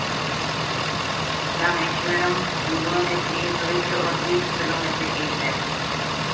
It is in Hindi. रामेश्वरम हिन्दुओं के लिए पवित्र और तीर्थ स्थलों में से एक है